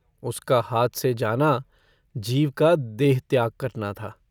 उसका हाथ से जाना जीव का देह त्याग करना था।